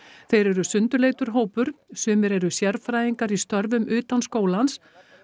þeir eru sundurleitur hópur sumir eru sérfræðingar í störfum utan skólans